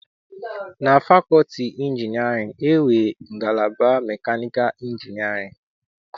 Na fakọlti nke injinịarịn, e nwere ngalaba mekanịkal injinịarịn.